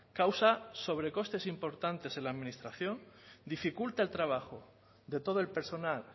causa sobrecostes importantes en la administración dificulta el trabajo de todo el personal